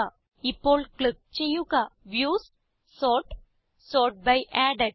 ഇപ്പോൾ ക്ലിക്ക് ചെയ്യുക views sort sort by added